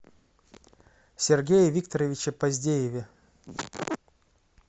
сергее викторовиче поздееве